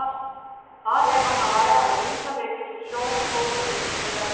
Þar er hann að ræða um ýmsa leiki sem sjómenn fóru í í verbúðum.